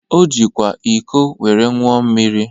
O jikwa iko were ńụọ mmiri.